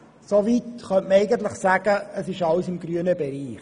Soweit könnte man sagen, es sei alles im grünen Bereich.